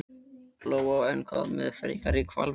Lóa: En hvað með frekari hvalveiðar?